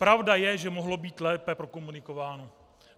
Pravda je, že mohlo být lépe prokomunikováno.